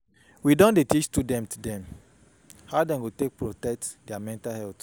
We don dey teach student dem how dem go fit protect their mental health.